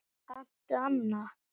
Kanntu annan?